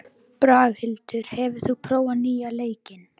Braghildur, hefur þú prófað nýja leikinn?